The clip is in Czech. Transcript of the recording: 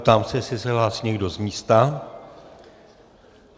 Ptám se, jestli se hlásí někdo z místa.